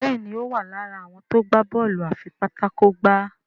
Béèni o wá lára àwọn tó gbà Bọ́ọ̀lù afipátákó gbá.